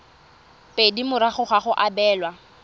pedi morago ga go abelwa